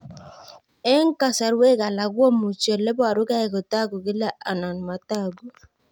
Eng' kasarwek alak komuchi ole parukei kotag'u kila anan matag'u